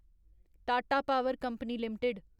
Tata power company limited